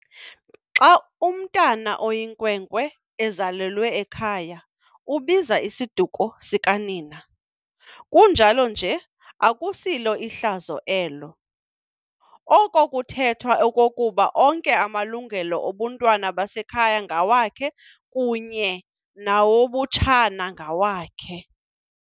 Xa umntwana oyinkwenkwe ezalelwe ekhaya, ubiza isiduko sikanina, kunjalo nje akusilo hlazo elo. Oko kuthetha okokuba onke amalungelo obuntwana bekhaya ngawakhe kunye nawobutshana ngawakhe.